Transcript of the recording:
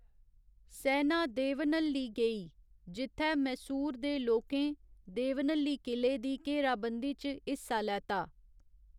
सैना देवनहल्ली गेई जित्थै मैसूर दे लोकें देवनहल्ली किले दी घेराबंदी च हिस्सा लैता।